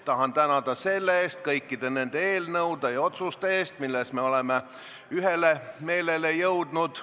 Tahan tänada kõikide nende eelnõude ja otsuste eest, milles me oleme ühele meelele jõudnud.